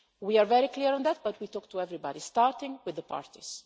We are very clear on that but we talk to everybody, starting with the parties.